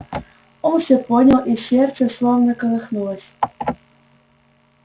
он всё понял и сердце словно колыхнулось